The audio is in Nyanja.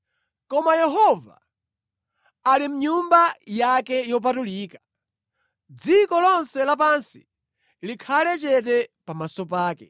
Koma Yehova ali mʼNyumba yake yopatulika; dziko lonse lapansi likhale chete pamaso pake.”